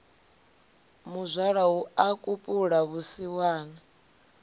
muzwala hu a kupula vhusiwana